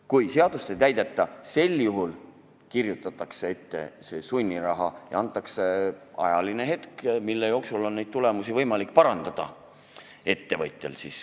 Kui seadust ei täideta, sel juhul kirjutatakse ette sunniraha ja antakse aeg, mille jooksul on ettevõtjal võimalik tulemusi parandada.